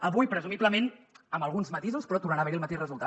avui presumiblement amb alguns matisos però tornarà a haver hi el mateix resultat